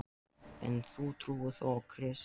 En þú trúir þó á Krist?